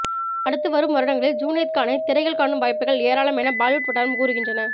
அடுத்து வரும் வருடங்களில் ஜுனைத் கானை திரையில் காணும் வாய்ப்புகள் ஏராளம் என பாலிவுட் வட்டாரம் கூறுகின்றன